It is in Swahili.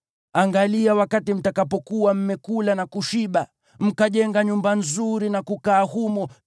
Angalia wakati mtakapokuwa mmekula na kushiba, mkajenga nyumba nzuri na kukaa humo,